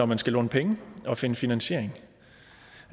man skal låne penge og finde finansiering